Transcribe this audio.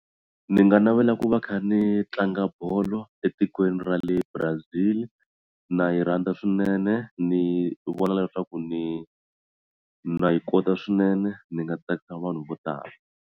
Ni nga navela ku va kha ni tlanga bolo etikweni ra le Brazil na yi rhandza swinene ni vona leswaku ni na yi kota swinene ni nga tsakisa vanhu vo tala.